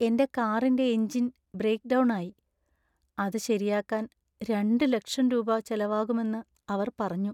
എന്‍റെ കാറിന്‍റെ engine breakdown ആയി, അത് ശരിയാക്കാൻ രണ്ട് ലക്ഷം രൂപ ചെലവാകുമെന്ന് അവർ പറഞ്ഞു.